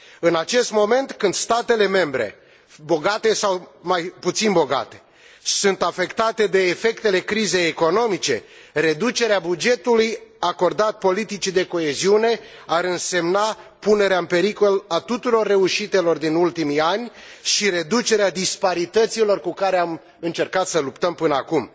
În acest moment, când statele membre bogate sau mai puțin bogate sunt afectate de efectele crizei economice, reducerea bugetului acordat politicii de coeziune ar însemna punerea în pericol a tuturor reușitelor din ultimii ani și reducerea disparităților cu care am încercat să luptăm până acum